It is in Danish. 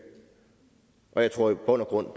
og jeg tror i bund og grund